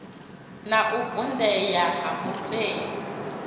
na u vundea ha matavhi